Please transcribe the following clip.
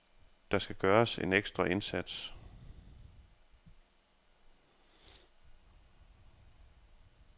Der skal gøres en ekstra indsats.